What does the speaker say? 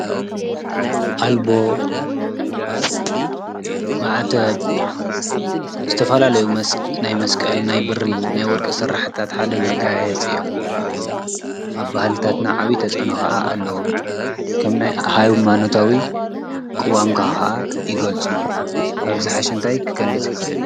ኣልቦ፣ ማዕተብ፣ ዝተፈላለዩ ናይ መስቀል ናይ ብሪ ናይ ወርሒ ስራሕትታት ሓደ መጋየፂ እዮም፡፡ ኣብ ባህልታትና ዓብይ ተፅእኖ ከዓ ኣለዎም፡፡ ከም ናይ ሃይማኖታዊ ቅዋምካ ከዓ ይገልፁ፡፡ ካብዚ ዝሓሸ እንታይ ክገልፅ ይክእል?